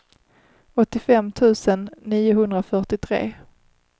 åttiofem tusen niohundrafyrtiotre